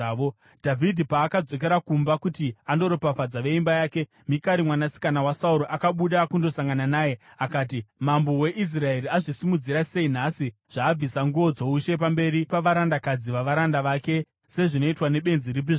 Dhavhidhi paakadzokera kumba kuti andoropafadza veimba yake, Mikari mwanasikana waSauro akabuda kundosangana naye akati, “Mambo weIsraeri azvisimudzira sei nhasi, zvaabvisa nguo dzoushe pamberi pavarandakadzi vavaranda vake sezvinoitwa nebenzi ripi zvaro.”